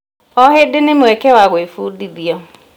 O hĩndĩ nĩ mweke wa gwĩbundithia.